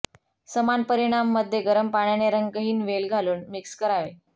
समान परिमाण मध्ये गरम पाण्याने रंगहीन वेल घालून मिक्स करावे